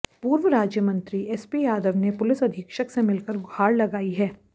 पूर्व राज्यमंत्री एसपी यादव ने पुलिस अधीक्षक से मिलकर गुहार लगाई है